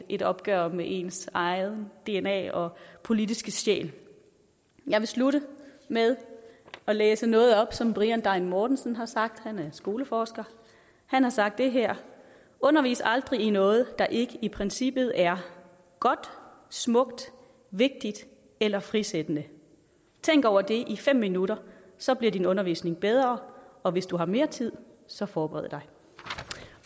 et opgør med ens eget dna og politiske sjæl jeg vil slutte med at læse noget op som brian degn mårtensson har sagt han er skoleforsker han har sagt det her undervis aldrig i noget der ikke i princippet er godt smukt vigtigt eller frisættende tænk over det i fem minutter så bliver din undervisning bedre og hvis du har mere tid så forbered dig